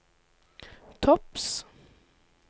topps